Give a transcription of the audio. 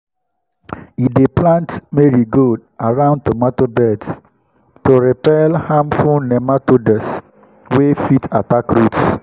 he dey plant marigold around tomato beds to repel harmful nematodes wey fit attack roots.